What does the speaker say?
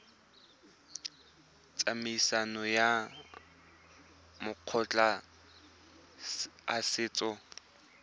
tsamaisong ya makgotla a setso